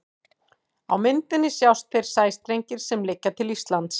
Á myndinni sjást þeir sæstrengir sem liggja til Íslands.